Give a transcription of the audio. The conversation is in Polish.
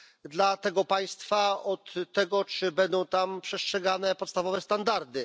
dla tego państwa od tego, czy będą tam przestrzegane podstawowe standardy.